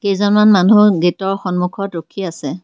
কেইজনমান মানুহ গেটৰ সন্মূখত ৰখি আছে।